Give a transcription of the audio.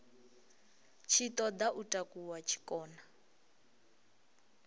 tshi ṱoḓa u takuwa tshikona